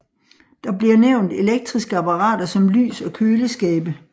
Der bliver nævnt elektriske apparater som lys og køleskabe